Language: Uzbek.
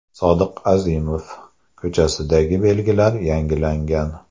Sodiq Azimov ko‘chasidagi belgilar yangilangan.